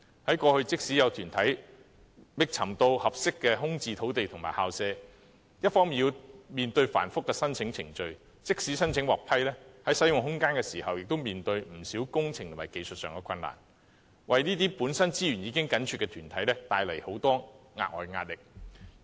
在過去，即使有團體覓得合適的空置政府土地和校舍，既要面對繁複的申請程序，即使申請獲批，在使用空間時也面對不少工程和技術上的困難，為這些本身資源已緊絀的團體倍添壓力。